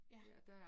Ja